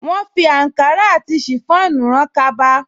Wọ́́n fi àǹkárá àti ṣìfọ́ònù rán kaba